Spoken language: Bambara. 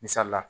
Misali la